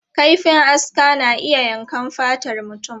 Kaifin aska na iya yankan fatar mutum.